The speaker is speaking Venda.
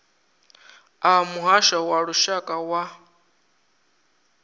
a muhasho wa lushaka wa